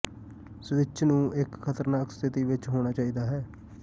switch ਨੂੰ ਇੱਕ ਖਤਰਨਾਕ ਸਥਿਤੀ ਵਿੱਚ ਹੋਣਾ ਚਾਹੀਦਾ ਹੈ